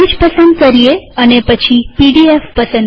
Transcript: language પસંદ કરીએ અને પછી પીડીએફ